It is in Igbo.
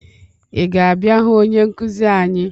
Ị ga-abịa hụ onye nkụzi anyị?